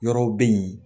Yɔrɔw be yen